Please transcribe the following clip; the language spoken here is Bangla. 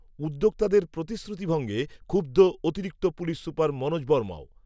উদ্যোক্তাদের প্রতিশ্রুতিভঙ্গে, ক্ষুব্ধ, অতিরিক্ত পুলিশ সুপার মনোজ, বর্মাও